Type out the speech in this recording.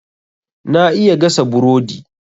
Na iya gasa burodi.